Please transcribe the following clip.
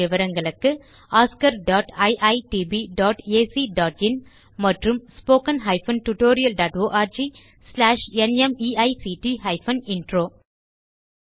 மேலும் விவரங்களுக்கு oscariitbacஇன் மற்றும் spoken tutorialorgnmeict இன்ட்ரோ